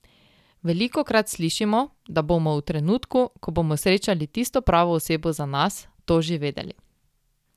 Velikokrat slišimo, da bomo v trenutku, ko bomo srečali tisto pravo osebo za nas, to že vedeli.